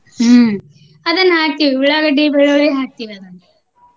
ಹ್ಮ ಅದನ್ನಹಾಕ್ತಿವಿ ಉಳ್ಳಾಗಡ್ಡಿ, ಬೆಳ್ಳುಳ್ಳಿ ಹಾಕ್ತೇವ ಅದನ್ನ.